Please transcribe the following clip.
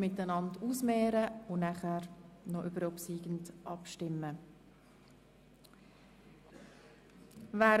Eventualanträge einander gegenüber und stimmen dann über den obsiegenden Eventualantrag ab.